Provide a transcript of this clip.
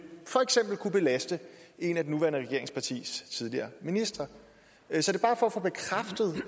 for eksempel kunne belaste et af de nuværende regeringspartiers tidligere ministre så det